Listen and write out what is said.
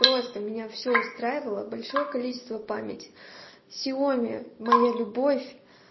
просто меня всё устраивало большое количество памяти сиоми моя любовь